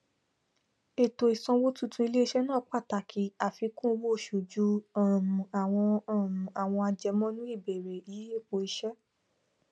ètò ìsanwó tuntun iléiṣẹ náà pàtàkì àfíkún owó oṣù ju um àwọn um àwọn àjẹmọnú ìbẹrẹ yíyípo iṣẹ